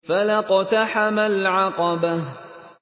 فَلَا اقْتَحَمَ الْعَقَبَةَ